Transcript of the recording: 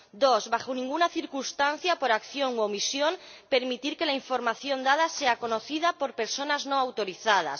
dos, bajo ninguna circunstancia, por acción u omisión, permitir que la información dada sea conocida por personas no autorizadas